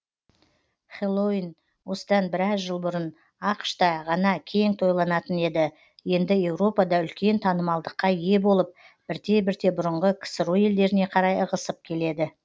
хэллоуин осыдан біраз жыл бұрын ақш та ғана кең тойланатын еді енді еуропада үлкен танымалдыққа ие болып бірте бірте бұрынғы ксро елдеріне қарай ығысып келеді